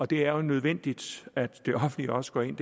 det er nødvendigt at det offentlige også går ind